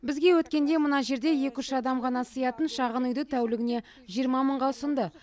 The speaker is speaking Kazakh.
бізге өткенде мына жерде екі үш адам ғана сыятын шағын үйді тәулігіне жиырма мыңға ұсынды